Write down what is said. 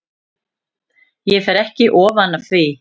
Ég fer ekki ofan af því.